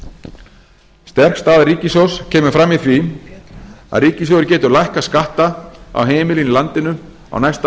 árs sterk staða ríkissjóðs kemur fram í því að ríkissjóður getur lækkað skatta á heimilin í landinu á næsta